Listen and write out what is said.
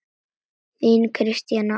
Þín, Kristín Anna.